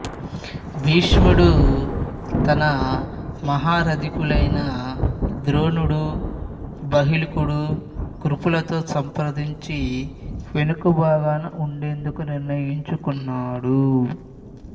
భీష్ముడు తన మహారథికులైన ద్రోణుడు బాహ్లికుడు కృపులతో సంప్రదించి వెనుక భాగాన ఉండేందుకు నిర్ణయించుకున్నాడు